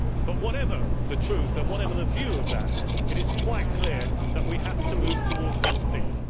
But whatever the truth and whatever the view of that, it is quite clear that we have to move towards one seat.